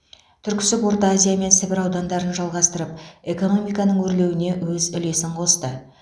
түрксіб орта азия мен сібір аудандарын жалғастырып экономиканың өрлеуіне өз үлесін қосты